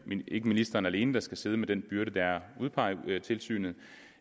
ikke ministeren alene der skal sidde med den byrde det er at udpege tilsynet